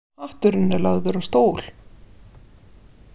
Hatturinn er lagður á stól.